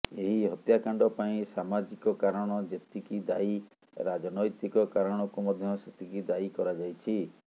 ଏହି ହତ୍ୟାକାଣ୍ଡ ପାଇଁ ସାମଜିକ କାରଣ ଯେତିକି ଦାୟୀ ରାଜନୈତିକ କାରଣକୁ ମଧ୍ୟ ସେତିକି ଦାୟୀ କରାଯାଇଛି